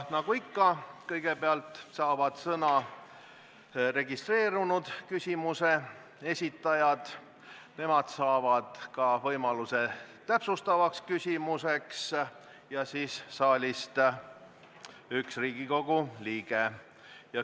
Nagu ikka, kõigepealt saavad sõna registreerunud küsimuse esitajad, nemad saavad ka võimaluse täpsustavaks küsimuseks ja samuti saalist üks Riigikogu liige.